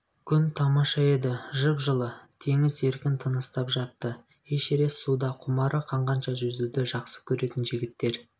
күн тамаша еді жып-жылы теңіз еркін тыныстап жатты эшерест суда құмары қанғанша жүзуді жақсы көретін жігіттер